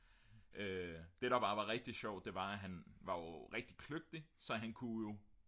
det der bare var rigtig sjovt det var han var jo rigtig kløgtig så han kunne jo